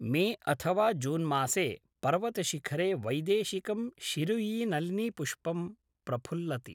मे अथवा जून्मासे पर्वतशिखरे वैदेशिकं शिरुयीनलिनीपुष्पं प्रफुल्लति।